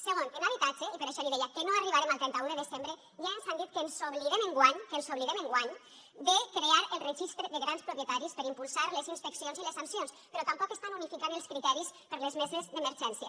segon en habitatge i per això li deia que no arribarem al trenta un de desembre ja ens han dit que ens oblidem enguany que ens oblidem enguany de crear el registre de grans propietaris per impulsar les inspeccions i les sancions però tampoc estan unificant els criteris per a les meses d’emergència